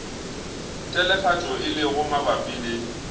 telefatšo e lego mabapi le